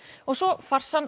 og svo